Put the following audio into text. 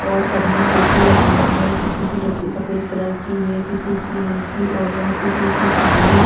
और सबने टोपी लगाये हैं किसी की टोपी सफेद कलर की है किसी की हल्‍की ऑरेन्‍ज किसी की काली और--